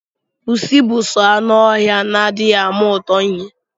Pusi bu soo anụ oha na adiighi ama ụtọ ihe.